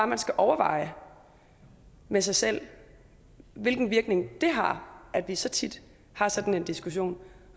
man skal overveje med sig selv hvilken virkning det har at vi så tit har sådan en diskussion